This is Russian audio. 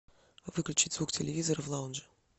выключить звук телевизора в лаунже